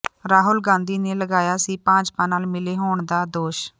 ਰਾਹੁਲ ਗਾਂਧੀ ਨੇ ਲਗਾਇਆ ਸੀ ਭਾਜਪਾ ਨਾਲ ਮਿਲੇ ਹੋਣ ਦਾ ਦੋਸ਼